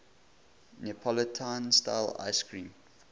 neapolitan style ice cream